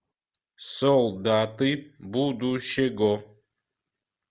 солдаты будущего